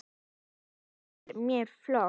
Þetta þykir mér flott!